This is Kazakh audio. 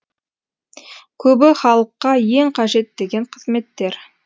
көбі халыққа ең қажет деген қызметтер